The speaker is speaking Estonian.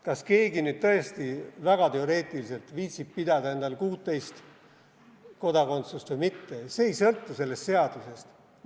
Kas keegi nüüd tõesti väga teoreetiliselt viitsib pidada endal 16 kodakondsust või mitte, see ei sõltu sellest seadusest.